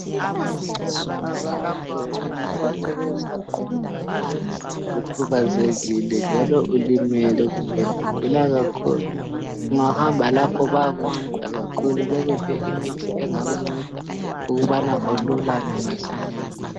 Kulapho abantu abanceswa khona uma ukhubazekile, njalo ulimele kumbe ugula kakhulu. Ungahamba lapho bayakunceda kakhulu bekuphe imithi engakunceda ukubana ululàme masinyane.